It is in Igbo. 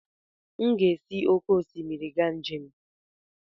M ga-esi n'oké osimiri ga njem.